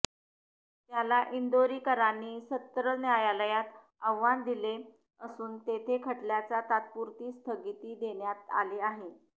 त्याला इंदोरीकरांनी सत्र न्यायालयात आव्हान दिले असून तेथे खटल्याला तात्पुरती स्थगिती देण्यात आली आहे